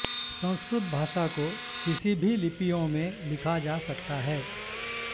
संस्कृत भाषा को किसी भी लिपियों में लिखा जा सकता है